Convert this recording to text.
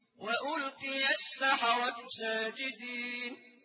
وَأُلْقِيَ السَّحَرَةُ سَاجِدِينَ